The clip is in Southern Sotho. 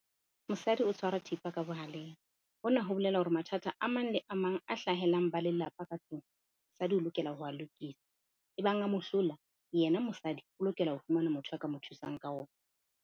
Mosadi o tshwara thipa ka bohaleng. Hona ho bolela hore mathata a mang le a mang a hlahelang ba lelapa ka tlung. Mosadi o lokela ho a lokisa ebang a mo hlola yena mosadi o lokela ho fumana motho a ka mo thusang ka ona.